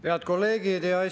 Head kolleegid!